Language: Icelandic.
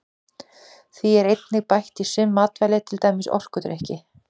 Því er einnig bætt í sum matvæli til dæmis orkudrykki.